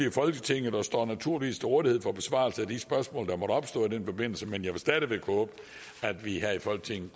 i folketinget og står naturligvis til rådighed for besvarelse af de spørgsmål der måtte opstå i den forbindelse men jeg vil stadig væk håbe at vi her i folketinget